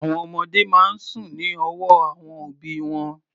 Àwọn ọmọdé máa ń sùn sí ọwọ́ àwọn òbí wọn.